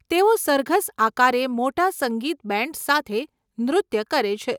તેઓ સરઘસ આકારે મોટા સંગીત બેન્ડ્સ સાથે નૃત્ય કરે છે.